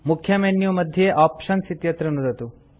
मुख्य मेन्यू मध्ये आप्शन्स् इत्यत्र नुदतु